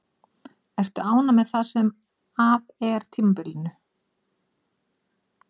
Ertu ánægð með það sem af er tímabilinu?